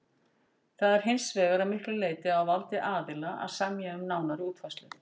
Það er hins vegar að miklu leyti á valdi aðila að semja um nánari útfærslu.